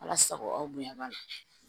Ala sago aw bonya b'a la